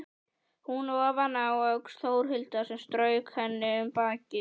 Hún ofaná öxl Þórhildar sem strauk henni um bakið.